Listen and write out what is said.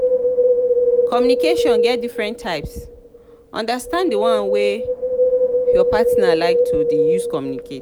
communication get different types understand di one wey your partner like to de use communicate